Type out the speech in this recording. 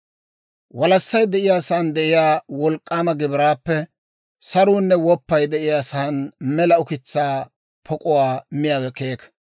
Walassay de'iyaa saan de'iyaa wolk'k'aama gibiraappe saruunne woppay de'iyaa saan mela ukitsaa pok'uwaa miyaawe keeka.